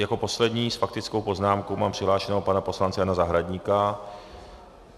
Jako posledního s faktickou poznámkou mám přihlášeného pana poslance Jana Zahradníka.